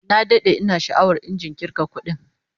Na dade ina sha'awar injin kirga kudin